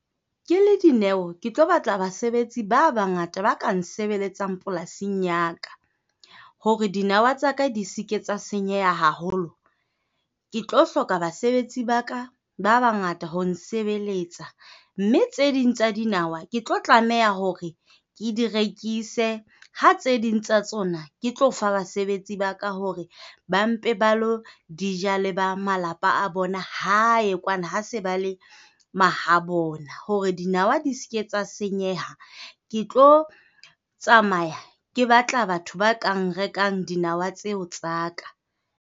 Ke le Dineo, ke tlo batla basebetsi ba bangata ba ka nsebeletsang polasing ya ka. Hore dinawa tsa ka di seka tsa senyeha haholo, ke tlo hloka basebetsi ba ka ba bangata ho nsebeletsa mme tse ding tsa dinawa ke tlo tlameha hore ke di rekise. Ha tse ding tsa tsona, ke tlo fa basebetsi ba ka hore ba mpe ba ilo ja le ba malapa a bona hae kwana, ha se ba le mahabo bona hore dinawa di se ke tsa senyeha. Ke tlo tsamaya ke batla batho ba ka rekang dinawa tseo tsa ka.